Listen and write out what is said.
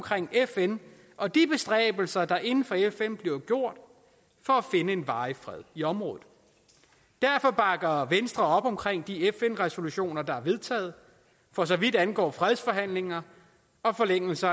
fn og de bestræbelser der inden for fn bliver gjort for at finde en varig fred i området derfor bakker venstre op om de fn resolutioner der er vedtaget for så vidt angår fredsforhandlinger og forlængelse